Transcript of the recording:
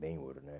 Ben-hur, né?